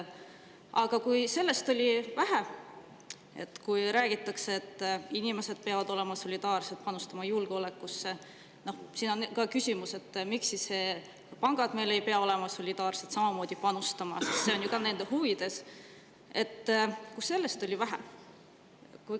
Aga kui sellest, et räägitakse, et inimesed peavad olema solidaarsed ja panustama julgeolekusse, on vähe, siis on küsimus, miks pangad ei pea olema solidaarsed ja samamoodi panustama, sest see on ju ka nende huvides.